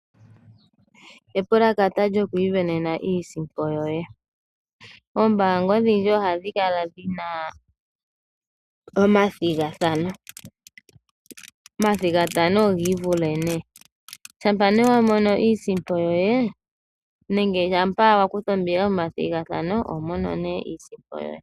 Epalakata lyokwisindanena iisimpo yoye. Oombanga odhindji ohadhi kala dhina omathigathano, omathigathano ogii vule nee, shampa ne wamono iisimpo yoye nenge shampa wakutha ombinga methigathano ohwi monene iisimpo yoye.